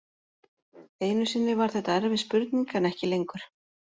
Einu sinni var þetta erfið spurning en ekki lengur.